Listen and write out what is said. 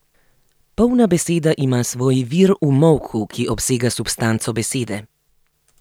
Polna beseda ima svoj vir v molku, ki obsega substanco besede.